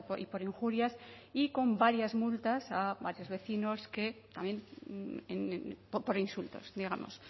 y por injurias y con varias multas a varios vecinos que también por insultos digamos